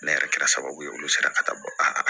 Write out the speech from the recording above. Ne yɛrɛ kɛra sababu ye olu sera ka taa bɔ a